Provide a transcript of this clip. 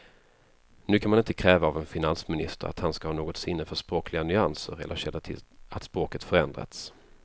Nu kan man inte kräva av en finansminister att han ska ha något sinne för språkliga nyanser eller känna till att språket förändrats.